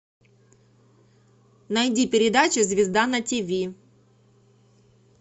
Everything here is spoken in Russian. найди передачу звезда на тв